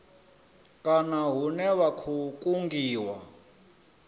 kana hune vha khou kungiwa